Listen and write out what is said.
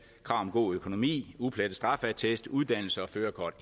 om god økonomi uplettet straffeattest uddannelse og førerkort